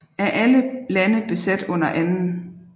Af alle lande besat under 2